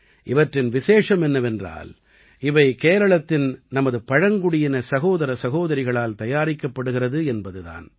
இவற்றின் விசேஷம் என்னவென்றால் இவை கேரளத்தின் நமது பழங்குடியின சகோதர சகோதரிகளால் தயாரிக்கப்படுகிறது என்பது தான்